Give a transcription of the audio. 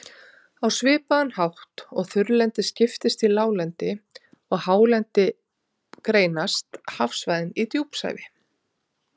Á svipaðan hátt og þurrlendið skiptist í láglendi og hálendi, greinast hafsvæðin í djúpsævi